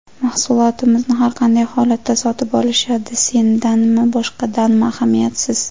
Mahsulotimizni har qanday holatda sotib olishadi, sendanmi, boshqadanmi, ahamiyatsiz”.